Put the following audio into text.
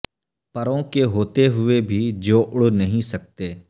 پروں کے ہوتے ہوئے بھی جو اڑ نہیں سکتے